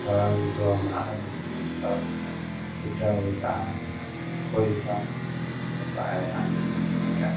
ከባቢ ዞባ ማእከል ኩዳ ወይ ከዓ ኮሊልካ ዝስዕሳዕ ዓይነት ሙዚቃ እዩ፡፡